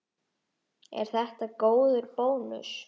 Er þetta góður bónus?